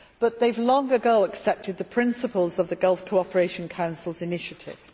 But they have long ago accepted the principles of the Gulf Cooperation Council's initiative.